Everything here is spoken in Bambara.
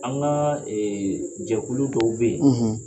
An ka jɛkulu dɔw bɛ yen,